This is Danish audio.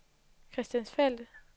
Christiansfeld